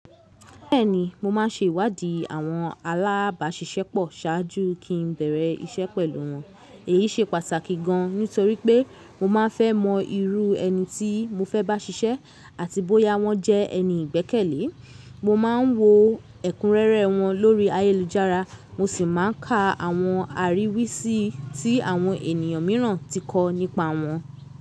Bẹ́ẹ̀ni, mo má ń se ìwádìí àwọn alábàṣiṣẹ́ pọ̀ ṣáájú kí n bẹ̀rẹ̀ iṣẹ́ pẹ̀lú wọn. Èyí se pàtàkì gan nítorí pé mo ma n fẹ́ mọ irú ẹni tí mo fẹ́ bá ṣiṣẹ́ àti bóyá wọ́n jẹ́ ẹni ìgbẹ́kẹ̀lé. Mo ma ń wo ẹ̀kúnrẹ́rẹ́ wọn lórí ayélujára, mo sì má n ka àwọn àríwísí tí àwọn ènìyàn mìíràn ti kọ nípa wọn.